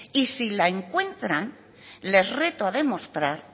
y si la encuentran les reto a demostrar